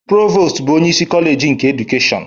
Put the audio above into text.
Provostu bụ onyeisi Koleji nke Edukeshọn.